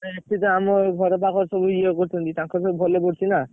ଏଠି ତ ଆମ ଘର ପାଖରେ ସବୁ ଇଏ କରୁଛନ୍ତି। ତାଙ୍କୁତ ଭଲ ପଡୁଛି ନା।